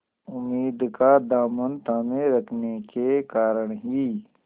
उम्मीद का दामन थामे रखने के कारण ही